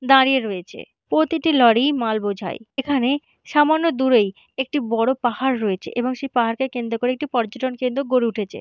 দাঁড়িয়ে রয়েছে প্রতিটি লরি মাল বোঝাই। এখানে সামান্য দূরেই একটি বড়ো পাহাড় রয়েছে এবং সেই পাহাড়কে কেন্দ্র করে একটি পর্যটন কেন্দ্র গড়ে উঠেছে।